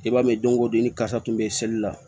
I b'a ye don ko don i ni kasa kun bɛ seli la